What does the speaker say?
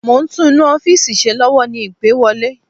Mo ń tún inú ọ́fìsì ṣe lọ́wọ́ ni ìpè wọlé